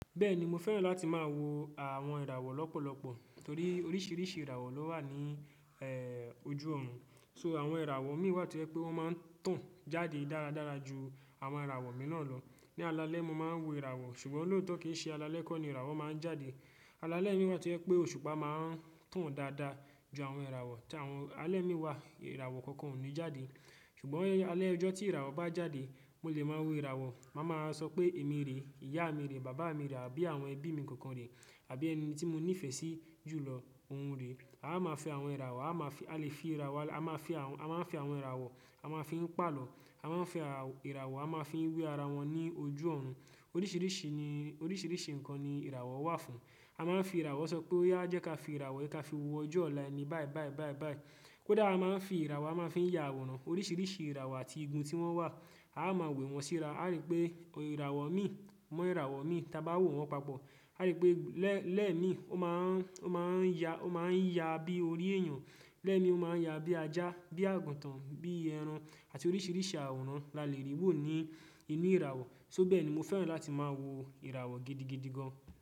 Bẹ́ẹ̀ni, mo fẹ́ràn láti máa wo àwọn ìràwọ̀ lọ́pọ̀lọpọ̀ torí oríṣiríṣi ìràwọ̀ ló wà níì ojú ọ̀run. So, àwọn ìràwọ̀ imì wà tó je pé wọ́n máa ń tàn jáde dáradára ju àwọn ìràwọ̀ mìíràn lọ. Ni alaalẹ́ mo máa ń wo ìràwọ̀ ṣùgbọ́n lọ́ọ̀tọ́ kìí ṣe alaalẹ́ kọ́ ni ìràwọ̀ máa ń jáde. Alaalẹ́ mi wà tó pé òṣùpá máa ń tàn dáadáa ju àwọn ìràwọ̀ tí àwọn alẹ́ imi wà ìràwọ̀ kankan ò ní jáde. Ṣùgbọ́n alẹ́ ọjọ́ tí ìràwọ̀ bá jáde, mo lè máa wo ìràwọ̀. Máa máa sọ pé èmi rèé, ìyá mi rèé, bàbá mi rà àbí àwọn ẹbí mi kankan rèé àbí ẹni tí mo nífẹ̀ẹ́ sí jù lọ òun rèé. A máa fi àwọn ìràwọ̀, a máa fi, a lè fi ìràwọ̀, a máa fi àwọn, a máa fi àwọn ìràwọ̀, a máa fi ń palọ̀, a máa ń fi ìràwọ̀, a máa fi ń wẹ ara wọn ní ojú ọ̀run. Oríṣiríṣi ni oríṣiríṣi nǹkan ni ìràwọ̀ wà fún. A máa ń fi ìràwọ̀ sọ pé oyà jẹ́ ká fi ìràwọ̀ yii ká fi wo ojú ọ̀la eni báì báì báì báì. Kódà a máa ń fi ìràwọ̀ a máa ń fi ya àwòrán. Oríṣiríṣi ìràwọ̀ àti igun tí wọ́n wà. A máa ń wẹ wọn síra. Aa rí pé ìràwọ̀ imì mọ́ ìràwọ̀ imì ti a ba wọ̀ wọ́n papọ̀. Aa rí pé lẹ́ lẹ́ẹ̀ mì o máa ń, o máa ń ya, o máa ń ya bí orí èyàn. Lẹ́ẹ̀ mì o máa ń ya bí ajá, bí àgùntàn, bí ẹran àti oríṣiríṣi àwòrán la lè rí wò ní ìmí ìràwọ̀. To bẹ́ẹ̀ ni mo fẹ́ràn láti máa wo ìràwọ̀ gidigidi gan.